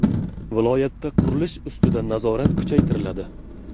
Viloyatda qurilish ustidan nazorat kuchaytiriladi.